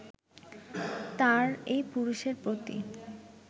তার এই পুরুষের প্রতি